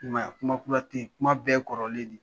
I m'a ye aa, Kuma kula te ye, kuma bɛɛ kɔrɔlen de